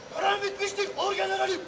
Əmr bitmişdir, orgenralım!